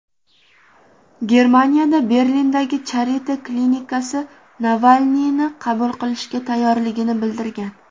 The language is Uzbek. Germaniyada Berlindagi Charite klinikasi Navalniyni qabul qilishga tayyorligini bildirgan.